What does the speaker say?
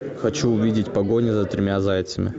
хочу увидеть погоня за тремя зайцами